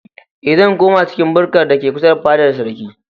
Eh, zan koma cikin bukkar da ke kusa da fadar sarkin.